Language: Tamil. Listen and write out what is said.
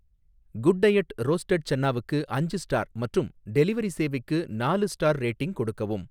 குட் டையட் ரோஸ்ட்டட் சன்னாவுக்கு அஞ்சு ஸ்டார் மற்றும் டெலிவரி சேவைக்கு நாலு ஸ்டார் ரேட்டிங் கொடுக்கவும்.